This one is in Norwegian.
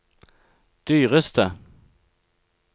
dyreste